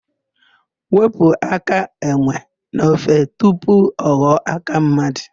Wepụ áká enwe n'ofe tupu ọ ghọọ áká mmadụ.